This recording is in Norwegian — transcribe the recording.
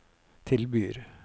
tilbyr